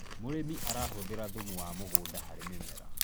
mũrĩmi arahuthira thumu wa mũgũnda harĩ mĩmera